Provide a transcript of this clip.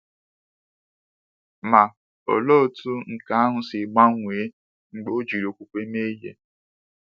Ma, olee otú nke ahụ si gbanwee mgbe ọ jiri okwukwe mee ihe!